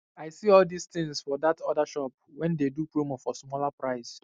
i see all these things for that other shop wen dey do promo for smaller price